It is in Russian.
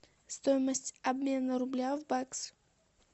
стоимость обмена рубля в бакс